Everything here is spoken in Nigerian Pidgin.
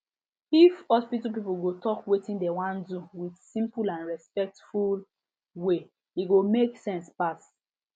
if hospital people go talk wetin dem wan do with simple and respectful way e go make sense pass